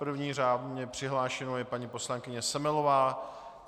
První řádně přihlášenou je paní poslankyně Semelová.